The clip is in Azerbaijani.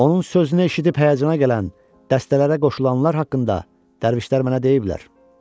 Onun sözünü eşidib həyəcana gələn, dəstələrə qoşulanlar haqqında dərvişlər mənə deyiblər.